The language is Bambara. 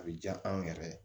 A bɛ diya anw yɛrɛ ye